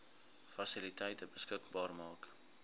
fasiliteite beskikbaar maak